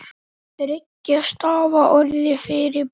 Þriggja stafa orð fyrir blek?